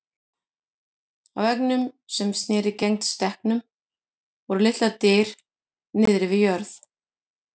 Á veggnum sem sneri gegnt stekknum voru litlar dyr niðri við jörð.